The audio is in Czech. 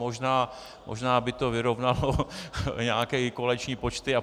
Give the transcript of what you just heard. Možná by to vyrovnalo nějaké koaliční počty apod.